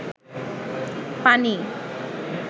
পানি